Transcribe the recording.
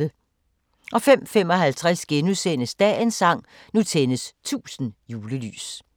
05:55: Dagens sang: Nu tændes 1000 julelys *